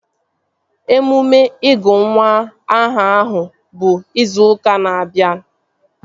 Emume ịgụ nwa aha ahụ bụ izu ụka na-abịa